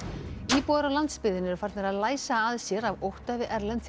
íbúar á landsbyggðinni eru farnir að læsa að sér af ótta við erlend